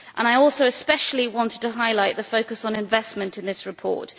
I also especially want to highlight the focus on investment in this report.